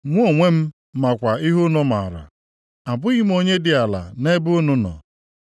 Mụ onwe m makwa ihe unu maara; abụghị m onye dị ala nʼebe unu nọ.